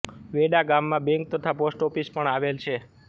વેડા ગામમાં બેંક તથા post office પણ આવેલ છે